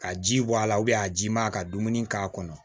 Ka ji bɔ a la a ji man ka dumuni k'a kɔnɔ